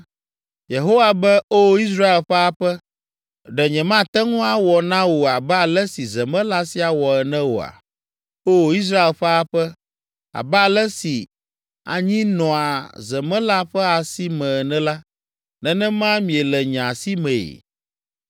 “Yehowa be O Israel ƒe aƒe, ɖe nyemate ŋu awɔ na wò abe ale si zemela sia wɔ ene oa? O Israel ƒe aƒe, abe ale si anyi nɔa zemela ƒe asi me ene la, nenema miele nye asimee.